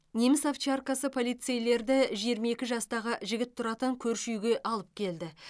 неміс овчаркасы полицейлерді жиырма екі жастағы жігіт тұратын көрші үйге алып келді